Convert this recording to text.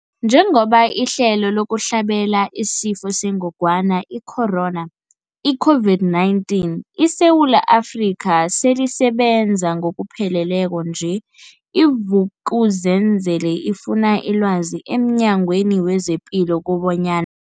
Njengoba ihlelo lokuhlabela isiFo sengogwana i-Corona, i-COVID-19, eSewula Afrika selisebenza ngokupheleleko nje, i-Vuk'uzenzele ifune ilwazi emNyangweni wezePilo kobanyan